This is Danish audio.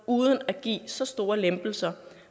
uden at give så store lempelser